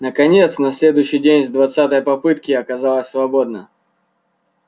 наконец на следующий день с двадцатой попытки оказалось свободно